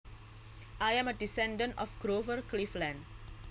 I am a descendant of Grover Cleveland